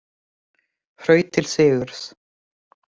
Hraut til sigurs